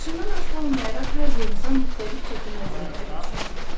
Yaşından asılı olmayaraq hər bir insan müxtəlif çətin vəziyyətlərə düşə bilər.